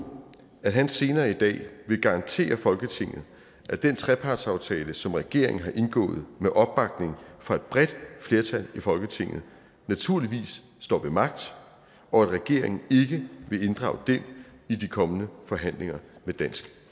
at han senere i dag vil garantere folketinget at den trepartsaftale som regeringen har indgået med opbakning fra et bredt flertal i folketinget naturligvis står ved magt og at regeringen ikke vil inddrage den i de kommende forhandlinger med dansk